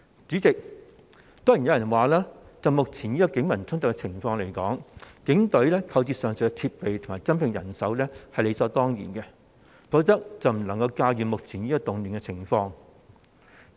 主席，當然有人會說，就着目前警民衝突的情況，警隊購置上述設備及增聘人手是理所當然的，否則便會無法駕馭目前的動亂情況。